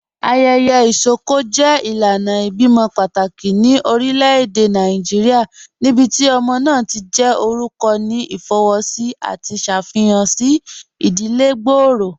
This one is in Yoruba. Ayẹyẹ isọkọ jẹ ilànà ibẹ̀imọ̀ pátákì ní orílẹ̀-èdè Nàìjíríà níbíti ọmọ náà ti jẹ́ orúkọ̀ ní ifowósì àti ṣáfíhàn sí ìdílẹ̀ gbọ́ọ̀rọ̀.